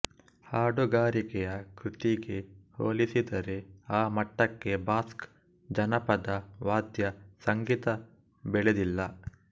ಹಾಡುಗಾರಿಕೆಯ ಕೃತಿಗೆ ಹೋಲಿಸಿದರೆ ಆ ಮಟ್ಟಕ್ಕೆ ಬಾಸ್ಕ್ ಜನಪದ ವಾದ್ಯ ಸಂಗೀತ ಬೆಳೆದಿಲ್ಲ